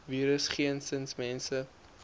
virus geensins mense